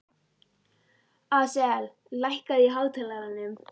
Asael, lækkaðu í hátalaranum.